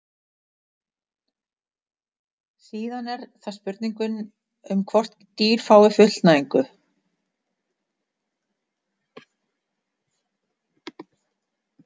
síðan er það spurningin um hvort dýr fái fullnægingu